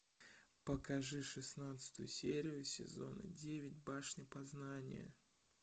покажи шестнадцатую серию сезона девять башня познания